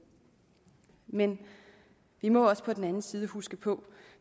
men vi må på den anden side huske på